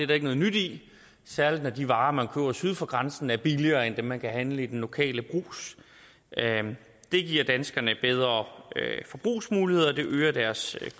der ikke noget nyt i særlig når de varer man køber syd for grænsen er billigere end dem man kan handle i den lokale brugs det giver danskerne bedre forbrugsmuligheder og det øger deres